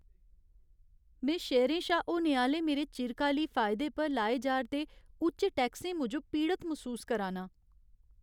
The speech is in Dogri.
में शेयरें शा होने आह्‌ले मेरे चिरकाली फायदे पर लाए जा'रदे उच्च टैक्सें मूजब पीड़त मसूस करा ना आं।